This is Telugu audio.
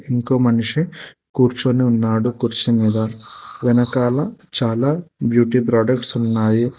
ఇంకో మనిషి కూర్చొని ఉన్నాడు కుర్చీ మీద వెనకాల చాలా బ్యూటీ ప్రొడక్ట్స్ ఉన్నాయి.